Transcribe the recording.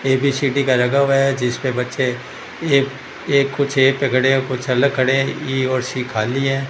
ABCD का लगा हुआ है जिसपे बच्चे एक कुछ है पड़े कुछ अलग खड़े ए और सी खाली है।